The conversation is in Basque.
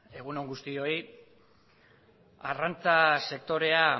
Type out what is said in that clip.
egun on guztioi arrantza sektorea